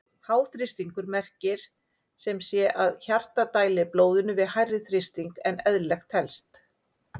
Háþrýstingur merkir sem sé að hjartað dælir blóðinu við hærri þrýsting en eðlilegt telst.